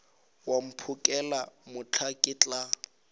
wa mphokela mohla ke tla